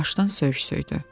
Yavaşdan söyüş söydü.